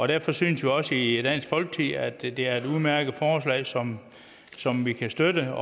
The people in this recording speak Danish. derfor synes vi også i dansk folkeparti at det er et udmærket forslag som som vi kan støtte